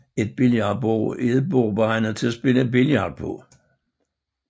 Et billardbord er et bord beregnet til at spille billard på